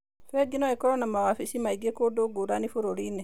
Bengi no ikorũo na mawabici maingĩ kũndũ ngũrani bũrũri-inĩ.